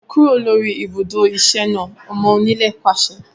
Kúrò lórí ibùdó iṣẹ́ náà! Ọmọ onílẹ̀ pàṣẹ